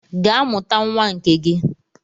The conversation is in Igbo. Gaa mụta nwa nke gị!